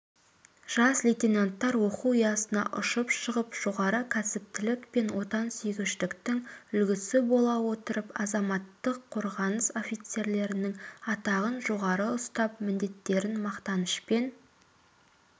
жас лейтенанттар оқу ұясына ұшып шығып жоғары кәсіптілік пен отансүйгіштіктің үлгісі бола отырып азаматтық қорғаныс офицерлерінің атағын жоғары ұстап міндеттерін мақтанышпен